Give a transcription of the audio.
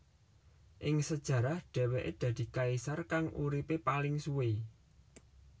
Ing sejarah dheweke dadi kaisar kang uripe paling suwe